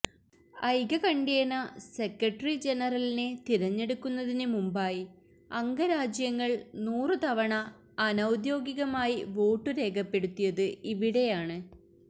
ഐകകണ്ഠ്യേന secretary ജനറലിനെ തിരഞ്ഞെടുക്കുന്നതിന് മുമ്പായി അംഗരാജ്യങ്ങൾ നൂറുതവണ അനൌദ്യോഗികമായി വോട്ടുരേഖപ്പെടുത്തിയത് ഇവിടെയാണ്